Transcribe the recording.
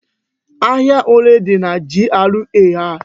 Ahia ole dị na GRA a?